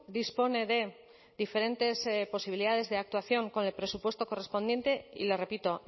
dispone de diferentes posibilidades de actuación con el presupuesto correspondiente y le repito